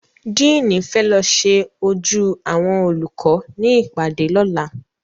Díìnì fẹ́ lọ ṣe ojú àwọn olùkọ́ ní ìpàdé lọ́la